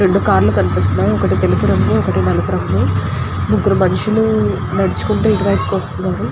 రెండు కార్ లు కనిపిస్తునై. ఒకటి నలుపు రంగు ఒకటి తెలుపు రంగు. ముగురు మనుషుల్లు నడుచుకుంటూ ఇటు వైపు వస్తునారు.